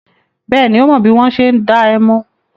Bẹ́ẹ̀ni, ó mọ bí wọ́n ṣe ń dá ẹmu.